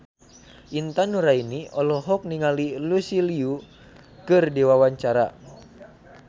Intan Nuraini olohok ningali Lucy Liu keur diwawancara